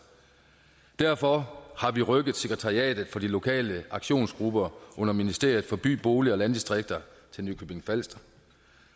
derfor har vi rykket sekretariatet for de lokale aktionsgrupper under ministeriet for by bolig og landdistrikter til nykøbing falster